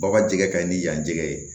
Baw ka jɛgɛ kaɲi ni yanjɛgɛ ye